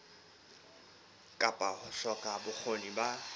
kapa ho hloka bokgoni ba